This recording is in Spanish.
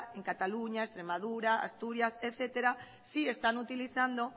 en cataluña extremadura asturias etcétera sí están utilizando